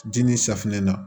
Diinɛ safinɛ na